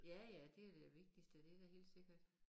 Ja ja det jo det vigtigste det er da helt sikkert